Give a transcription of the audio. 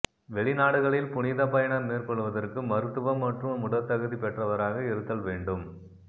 வெளிநாடுகளில் புனித பயணம் மேற்கொள்வதற்கு மருத்துவ மற்றும் உடற்தகுதி பெற்றவராக இருத்தல் வேண்டும்